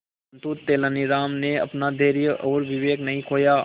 परंतु तेलानी राम ने अपना धैर्य और विवेक नहीं खोया